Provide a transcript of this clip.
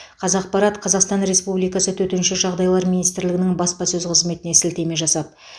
қазақпарат қазақстан республикасы төтенше жағдайлар министрлігінің баспасөз қызметіне сілтеме жасап